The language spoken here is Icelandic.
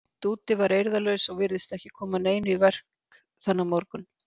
Dúddi var eirðarlaus og virtist ekki koma neinu í verk þennan morgun.